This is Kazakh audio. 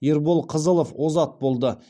ербол қызылов озат болды